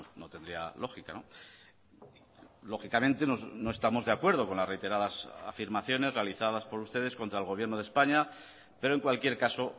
no tendría lógica lógicamente no estamos de acuerdo con las reiteradas afirmaciones realizadas por ustedes contra el gobierno de españa pero en cualquier caso